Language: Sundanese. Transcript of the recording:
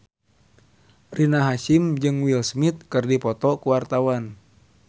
Rina Hasyim jeung Will Smith keur dipoto ku wartawan